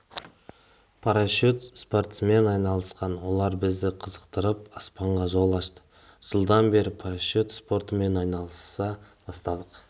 парашют спортсмен айналысқан олар бізді қызықтырып аспанға жол ашты жылдан бері парашют спортымен айналыса бастадық